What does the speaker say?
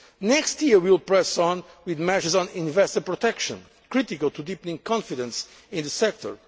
Next year we will press on with measures on investor protection, critical to deepening confidence in the